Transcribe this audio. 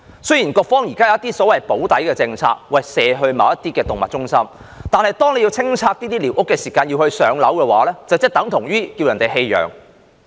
雖然局方現時有所謂的"補底"政策，將動物轉介動物中心，但如果在清拆寮屋時居民獲安排"上樓"，這便等於要求他們棄養。